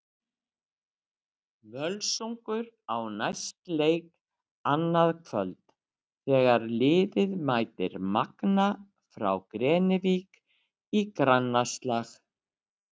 Völsungur á næst leik annað kvöld þegar liðið mætir Magna frá Grenivík í grannaslag.